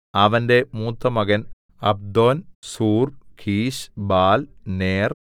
അവന്റെ മൂത്തമകൻ Abdon Zur Kish Baal നേർ